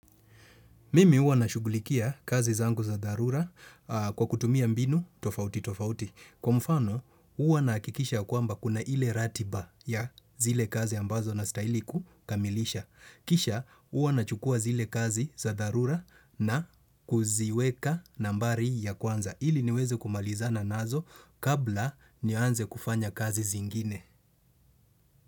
Mimi huwa nashugulikia kazi zangu za dharura kwa kutumia mbinu, tofauti, tofauti. Kwa mfano, huwa nahakikisha ya kwamba kuna ile ratiba ya zile kazi ambazo nastahili kukamilisha. Kisha, uwa na chukua zile kazi za darura na kuziweka nambari ya kwanza. Ili niweze kumalizana nazo kabla nianze kufanya kazi zingine.